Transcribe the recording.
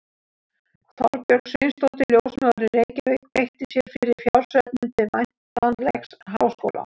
Þorbjörg Sveinsdóttir, ljósmóðir í Reykjavík, beitti sér fyrir fjársöfnun til væntanlegs háskóla.